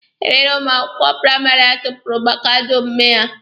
E nwere ụmụ akwụkwọ praịmarị achụpụrụ maka ajọ omume ha.